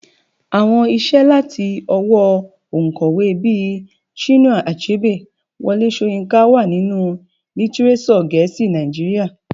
Àwọn iṣẹ́ láti ọwọ́ oǹkọ̀wé bíi Chinua Achebe, Wole Soyinka wà nínú lítírésọ̀ gẹ̀ẹ́sì Nàìjíríà.